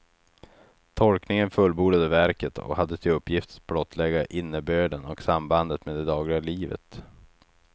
Tolkningen fullbordade verket och hade till uppgift att blottlägga innebörden och sambandet med det dagliga livet.